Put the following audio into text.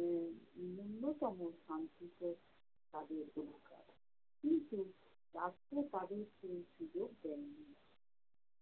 উম নূন্যতম শান্তিতে তাদের দিন কাটে। কিন্তু রাত্রে তাদের সেই সুযোগ দেয় না।